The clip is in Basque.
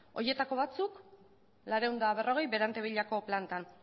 horietako batzuek laurehun eta berrogei berantevillako plantan